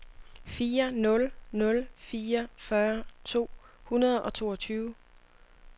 fire nul nul fire fyrre to hundrede og toogtyve